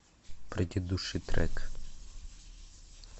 предыдущий трек